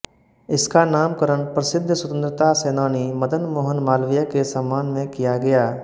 इसका नामकरण प्रसिद्ध स्वतंत्रता सैनानी मदन मोहन मालवीय के सम्मान में किया गया